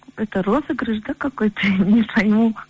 это розыгрыш да какой то я не пойму